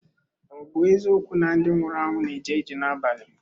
Ọ̀ bụ eziokwu na ndị nwụrụ anwụ na-eje ije n’abalị?